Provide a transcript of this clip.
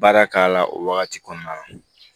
Baara k'a la o wagati kɔnɔna na